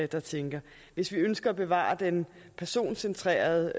der tænker hvis vi ønsker at bevare den personcentrerede